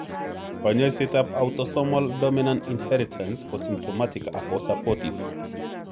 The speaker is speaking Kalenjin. Konyoisetap Autosomal dominant inheritance ko symptomatic ago supportive.